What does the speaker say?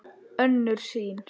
Önnur sýn